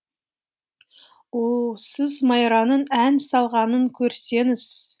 о сіз майраның ән салғанын көрсеңіз